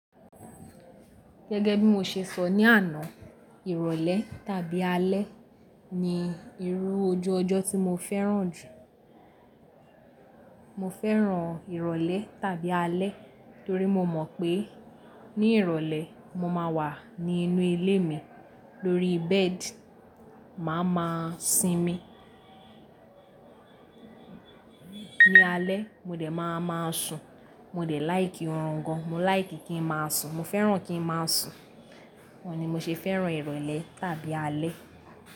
Gẹ́gẹ́ bí mo ṣe sọ ní àná, ìrọ̀lẹ́ tàbí alẹ́ ni irú ojú ọjọ́ tí mo fẹ́ràn jù. Mo fẹ́ràn ìrọ̀lẹ́ tàbí alẹ́ torí mo mọ̀ pé ní ìrọ̀lẹ́ mo máa wà ní inú ilé mi lórí bẹ́ẹ̀dì, màá máa sinmi. Ní alẹ́ mo dẹ̀ máa máa sùn. Mo dẹ̀ like orun gan, mo like kí ń máa sùn, mo fẹ́ràn kí ń máa sùn. Oun ni mo ṣe fẹ́ràn ìrọ̀lẹ́ tàbí alẹ́.